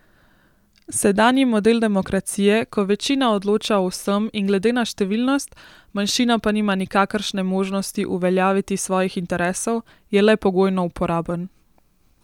Sedanji model demokracije, ko večina odloča o vsem in glede na številnost, manjšina pa nima nikakršne možnosti uveljaviti svojih interesov, je le pogojno uporaben.